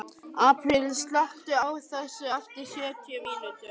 Apríl, slökktu á þessu eftir sjötíu mínútur.